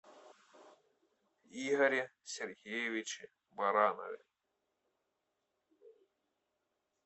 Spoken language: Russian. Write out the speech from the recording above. игоре сергеевиче баранове